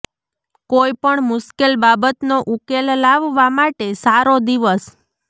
કોઈ પણ મુશ્કેલ બાબતનો ઉકેલ લાવવા માટે સારો દિવસ